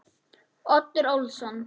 Oddur Ólason.